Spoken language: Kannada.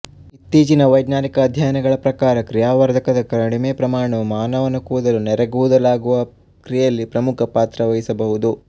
ಇತ್ತೀಚಿನ ವೈಜ್ಞಾನಿಕ ಅಧ್ಯಯನಗಳ ಪ್ರಕಾರ ಕ್ರಿಯಾವರ್ಧಕದ ಕಡಿಮೆ ಪ್ರಮಾಣವು ಮಾನವನ ಕೂದಲು ನೆರೆಕೂದಲಾಗುವ ಕ್ರಿಯೆಯಲ್ಲಿ ಪ್ರಮುಖ ಪಾತ್ರವಹಿಸಬಹುದು